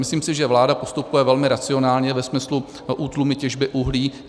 Myslím si, že vláda postupuje velmi racionálně ve smyslu útlumu těžby uhlí.